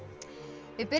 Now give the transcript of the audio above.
við byrjum